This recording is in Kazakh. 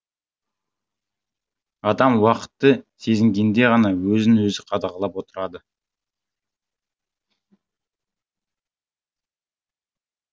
адам уақытты сезінгенде ғана өзін өзі қадағалап отырады